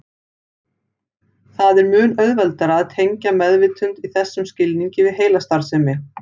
Það er mun auðveldara að tengja meðvitund í þessum skilningi við heilastarfsemi.